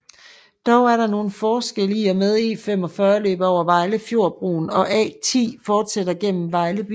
Dog er der nogle forskelle i og med E45 løber over Vejlefjordbroen og A10 fortsætter ind gennem Vejle by